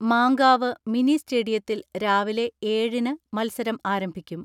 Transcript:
Mankavu mini സ്റ്റേഡിയത്തിൽ രാവിലെ ഏഴിന് മത്സരം ആരംഭിക്കും.